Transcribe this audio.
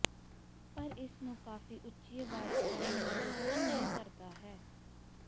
ਪਰ ਇਸ ਨੂੰ ਕਾਫ਼ੀ ਉੱਚੀ ਆਵਾਜ਼ ਕਰਨ ਨੂੰ ਰੋਕਣ ਨਹੀ ਕਰਦਾ ਹੈ